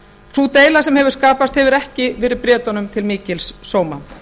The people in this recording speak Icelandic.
sú deila sem hefur skapast hefur ekki verið bretum til mikils sóma